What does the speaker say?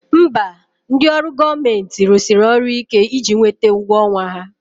Mba, ndị ọrụ gọọmenti rụsiri ọrụ ike iji nweta ụgwọ ọnwa ha